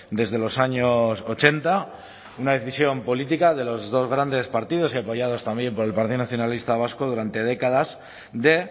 desde los años ochenta una decisión política de los dos grandes partidos y apoyados también por el partido nacionalista vasco durante décadas de